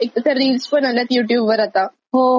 त्या रील्स मध्ये पण खूप वेळ जातोय. हो हो नवीन फिचर आलाय.